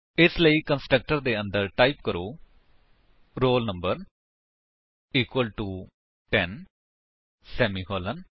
ਇਸ ਲਈ ਕੰਸਟਰਕਟਰ ਦੇ ਅੰਦਰ ਟਾਈਪ ਕਰੋ roll number equal to ten semicolon